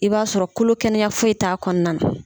I b'a sɔrɔ kolo kɛnɛya foyi t'a kɔnɔna na.